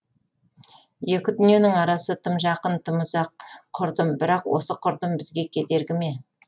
екі дүниенің арасы тым жақын тым ұзақ құрдым бірақ осы құрдым бізге кедергі ме